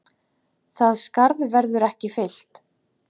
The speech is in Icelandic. Það skarð verður ekki fyllt.